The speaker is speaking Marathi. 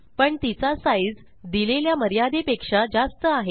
पण तिचा साईज दिलेल्या मर्यादेपेक्षा जास्त आहे